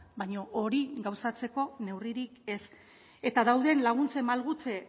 baina hori gauzatzeko neurririk ez eta dauden laguntzen malgutze